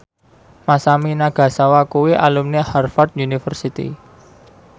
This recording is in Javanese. Masami Nagasawa kuwi alumni Harvard university